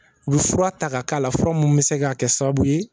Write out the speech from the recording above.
U bɛ fura ta ka kɛ a la, fura minnu bɛ se ka kɛ sababu ye